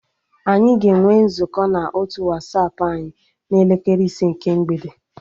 Anyị ga-enwe nzukọ na otu Wasapụ anyị n'elekere ise nke mgbede